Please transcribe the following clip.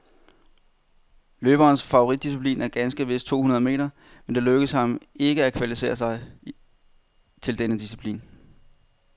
Løberens favoritdisciplin er ganske vist to hundrede meter, men det lykkedes ham ikke at kvalificere sig til denne disciplin.